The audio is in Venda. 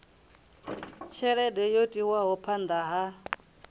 tshelede yo tiwaho phanda ha